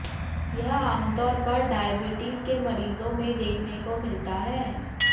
यह आमतौर पर डायबिटीज के मरीजों में देखने को मिलता है